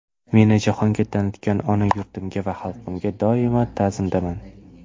Meni jahonga tanitgan ona yurtimga va xalqimga doimo ta’zimdaman.